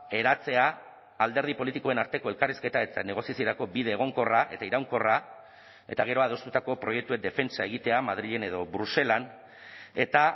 eratzea alderdi politikoen arteko elkarrizketa eta negoziaziorako bide egonkorra eta iraunkorra eta gero adostutako proiektuen defentsa egitea madrilen edo bruselan eta